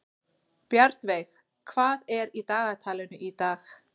Bjarnveig, hvað er í dagatalinu í dag?